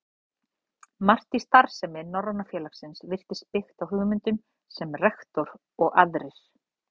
Margt í starfsemi Norræna félagsins virtist byggt á hugmyndum, sem rektor og aðrir